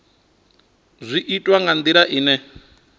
zwi itwa nga ndila ine